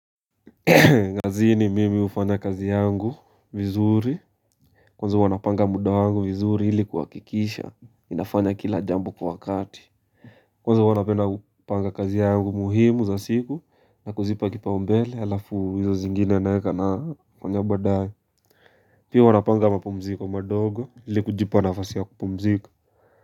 Kazi ni mimi hufanya kazi yangu vizuri Kwanza wanapanga muda wangu vizuri ilikuwa kuhakikisha inafanya kila jambu kwa wakati Kwanza wanapenda upanga kazi yangu muhimu za siku na kuzipa kipau mbele alafu hizo zingine naweka nafanya baadae Pia huwa napanga mapumziko madogo ilikujipa nafasi ya kupumziko.